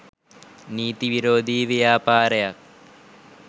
නීති විරෝධී ව්‍යාපාරයක්‌.